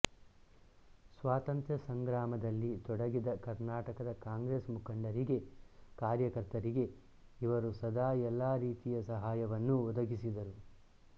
ಸ್ವಾತಂತ್ರ್ಯ ಸಂಗ್ರಾಮದಲ್ಲಿ ತೊಡಗಿದ ಕರ್ನಾಟಕದ ಕಾಂಗ್ರೆಸ್ ಮುಖಂಡರಿಗೆ ಕಾರ್ಯಕರ್ತರಿಗೆ ಇವರು ಸದಾ ಎಲ್ಲ ರೀತಿಯ ಸಹಾಯವನ್ನೂ ಒದಗಿಸಿದರು